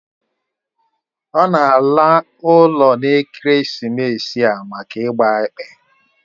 Ọ na ala ụlọ n'ekeresimesi a maka ịgba ekpe